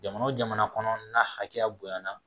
Jamana o jamana kɔnɔ n'a hakɛya bonɲana